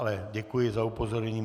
Ale děkuji za upozornění.